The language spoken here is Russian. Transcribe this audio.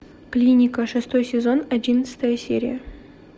клиника шестой сезон одиннадцатая серия